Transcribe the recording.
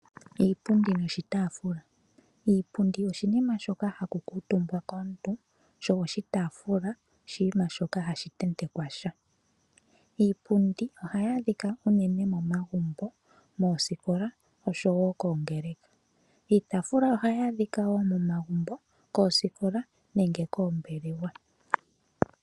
Iipundi noshitaafula. Iipundi oshinima shoka haku kuutumbwa komuntu, sho oshitaafula oshiima shoka hashi tentekwa sha. Iipundi ohayaa dhika unene momagumbo, moosikola, osho wo koongeleka. Iitaafula oha yaadhika wo momagumbo, koosikola nenge koombelewa.